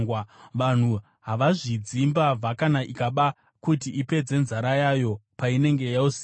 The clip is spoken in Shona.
Vanhu havazvidzi mbavha kana ikaba kuti ipedze nzara yayo painenge yoziya.